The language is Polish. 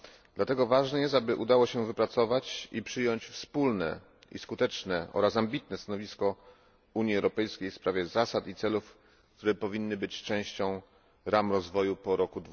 Dlatego ważne jest, aby udało się wypracować i przyjąć wspólne i skuteczne oraz ambitne stanowisko Unii Europejskiej w sprawie zasad i celów, które powinny być częścią ram rozwoju po roku